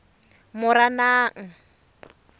moranang